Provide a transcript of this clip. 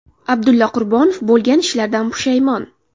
Abdulla Qurbonov bo‘lgan ishlardan pushaymon.